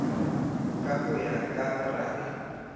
ka ho ya ka borabe